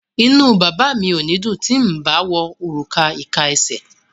Inú bàbá mi ò ní dùn ti n bá wọ òrùka ìka esè.